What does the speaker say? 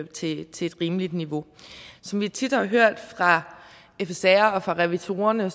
til et rimeligt niveau som vi tit har hørt fra fsr og fra revisorerne